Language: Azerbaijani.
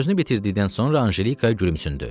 Sözünü bitirdikdən sonra Anjelikaya gülümsündü.